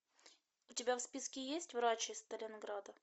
у тебя в списке есть врач из сталинграда